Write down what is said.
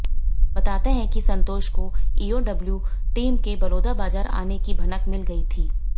बताते हैं कि संतोष को ईओडब्लू टीम के बलौदाबाजर आने की भनक मिल गई थी